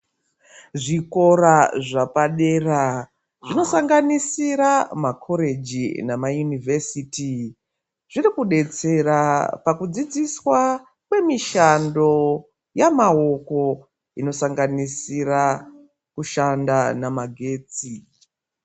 Zvikora zvepadera zvosanganisira ma koreji nema yunivhesiti zviri kudetsera pakudzidziswa kwemishando yemaoko inosanganisira kushanda namagetsi.